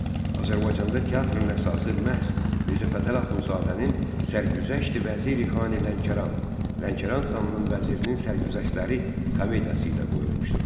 Azərbaycanda teatrın əsası məhz Mirzə Fətəli Axundzadənin Sərgüzəşti-Vəziri-Xani-Lənkəran (Lənkəran xanının vəzirinin sərgüzəştləri) komediyası ilə qoyulmuşdur.